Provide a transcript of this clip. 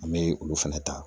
An bɛ olu fɛnɛ ta